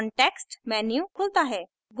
context menu खुलता है